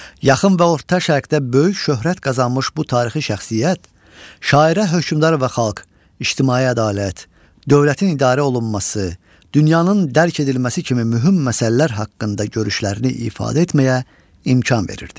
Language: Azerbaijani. Yaxın və orta şərqdə böyük şöhrət qazanmış bu tarixi şəxsiyyət, şairə hökmdar və xalq, ictimai ədalət, dövlətin idarə olunması, dünyanın dərk edilməsi kimi mühüm məsələlər haqqında görüşlərini ifadə etməyə imkan verirdi.